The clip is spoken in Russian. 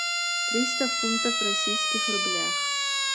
триста фунтов в российских рублях